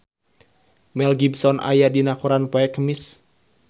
Mel Gibson aya dina koran poe Kemis